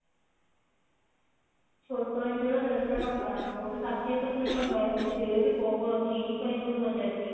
ଛୋଟ ଇଞ୍ଚଡ ଦଶ ଟଙ୍କା କଉଠି ଷାଠିଏ ସତୁରୀ ଟଙ୍କା ଏମିତି rate ପ୍ରବଳ କିଣିପାରିବୁନି ବଜାର ରେ